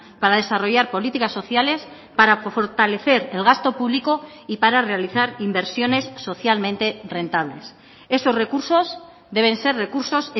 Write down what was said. para desarrollar políticas sociales para fortalecer el gasto público y para realizar inversiones socialmente rentables esos recursos deben ser recursos